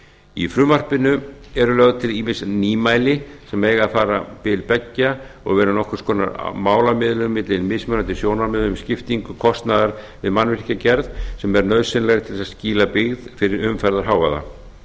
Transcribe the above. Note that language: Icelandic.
í frumvarpinu eru lögð til ýmis nýmæli sem eiga að fara bil beggja og vera nokkurs konar málamiðlun milli mismunandi sjónarmiða um skiptingu kostnaðar við mannvirkjagerð sem er nauðsynleg til þess að skýla byggð fyrir umferðarhávaða